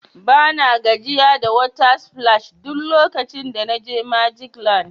Bana gajiya da water splash duk lokacin da na je magic land.